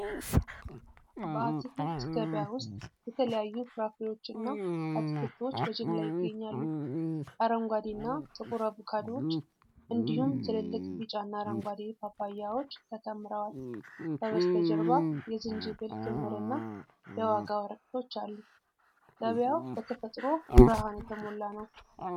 በአትክልት ገበያ ውስጥ የተለያዩ ፍራፍሬዎችና አትክልቶች በጅምላ ይገኛሉ። አረንጓዴ እና ጥቁር አቮካዶዎች እንዲሁም ትልልቅ ቢጫና አረንጓዴ ፓፓያዎች ተከምረዋል። ከበስተጀርባ የዝንጅብል ክምር እና የዋጋ ወረቀቶች አሉ። ገበያው በተፈጥሮ ብርሃን የተሞላ ነው።